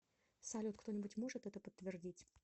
салют кто нибудь может это подтвердить